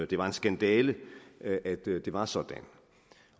det var en skandale at at det var sådan